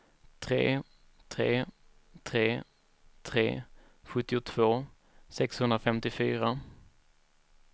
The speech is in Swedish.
tre tre tre tre sjuttiotvå sexhundrafemtiofyra